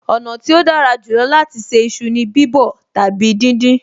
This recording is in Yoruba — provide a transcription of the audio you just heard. Ọ̀nà tí ó dára jù lọ láti ṣe iṣu ni bíbọ̀ tàbí díndín